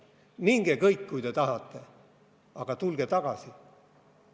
Minge kõik, kui te tahate, aga tulge tagasi.